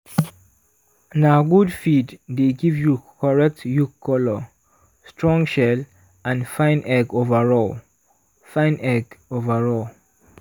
na good feed dey give you correct yolk colour strong shell and fine egg overall. fine egg overall.